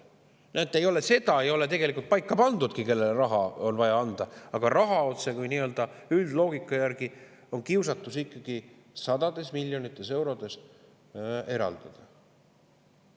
Näete, seda ei ole tegelikult paika pandudki, kellele raha on vaja anda, aga ikkagi on kiusatus otsekui mingi üldloogika järgi sadades miljonites eurodes raha eraldada.